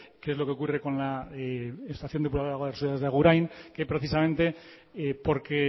qué es lo que ocurre con la estación depuradora de aguas residuales de agurain que precisamente porque